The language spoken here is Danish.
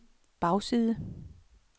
bagside